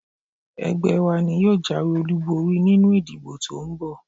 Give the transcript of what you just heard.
Ẹgbẹ́ wa ni yóò jáwé olúborí nínú ìdìbò to ń bọ̀